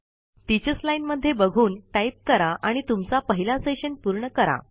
teachers line मध्ये बघुन type करा आणि तुमचा पहिला सेशन पूर्ण करा